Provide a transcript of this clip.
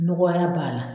Nɔgɔya b'a la